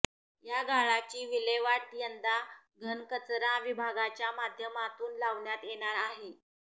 या गाळाची विल्हेवाट यंदा घनकचरा विभागाच्या माध्यमातून लावण्यात येणार आहे